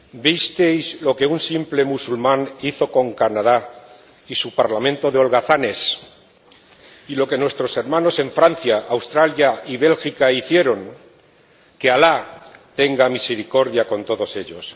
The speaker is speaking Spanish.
¿Visteis lo que un simple musulmán hizo con Canadá y su parlamento de holgazanes y lo que nuestros hermanos en Francia, Australia y Bélgica hicieron? Que Alá tenga misericordia con todos ellos.